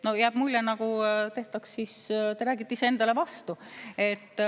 No jääb mulje, nagu te räägite iseendale vastu.